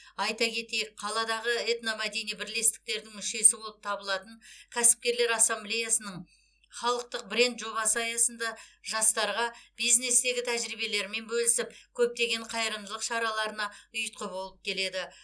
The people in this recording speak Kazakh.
айта кетеік қаладағы этномәдени бірлестіктердің мүшесі болып табылатын кәсіпкерлер ассамблеяның халықтық бренд жобасы аясында жастарға бизнестегі тәжірибелерімен бөлісіп көптеген қайырымдылық шараларына ұйытқы болып келеді